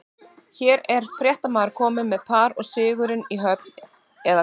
Hér er fréttamaður kominn með par og sigurinn í höfn, eða hvað?